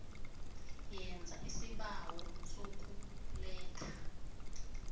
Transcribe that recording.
yenza isibawo sokuletha